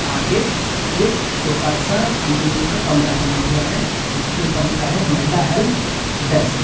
आगे एक छोटा सा अल्युमिनियम का कमरा बना हुआ है जिसके ऊपर लिखा है महिला हेल्प डेस्क ।